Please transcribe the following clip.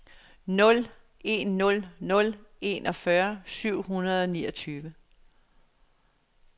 nul en nul nul enogfyrre syv hundrede og niogtyve